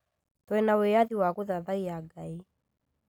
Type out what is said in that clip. Twĩna wĩathi wa gũthathaiya Ngai